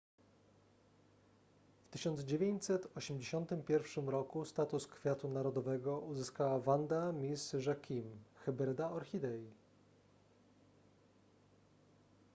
w 1981 roku status kwiatu narodowego uzyskała vanda miss joaquim hybryda orchidei